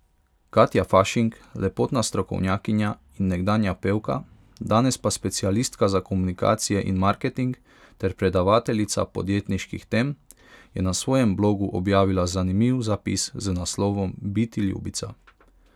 Katja Fašink, lepotna strokovnjakinja in nekdanja pevka, danes pa specialistka za komunikacije in marketing ter predavateljica podjetniških tem, je na svojem blogu objavila zanimiv zapis z naslovom Biti ljubica.